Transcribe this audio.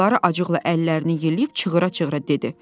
Dilara acıqla əllərini yelləyib çığıra-çığıra dedi.